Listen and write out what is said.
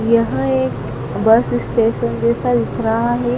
यह एक bus station जैसा दिख रहा है।